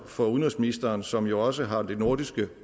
for udenrigsministeren som jo også har de nordiske